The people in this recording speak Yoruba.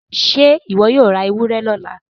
ṣe iwọ yóò rá ewúrẹ lọla?